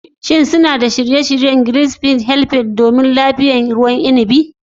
Shin suna da shirye-shiryen ziyartar "Grgich Hills Estate" domin liyafar ruwan inibi?